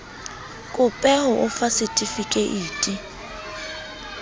kope ho o fa setifikeiti